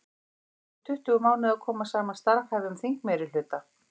Þá tók um tuttugu mánuði að koma saman starfhæfum þingmeirihluta.